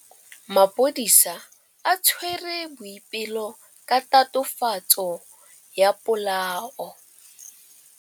Maphodisa a tshwere Boipelo ka tatofatsô ya polaô.